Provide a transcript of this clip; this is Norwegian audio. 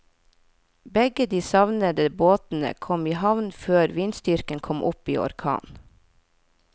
Begge de savnede båtene kom i havn før vindstyrken kom opp i orkan.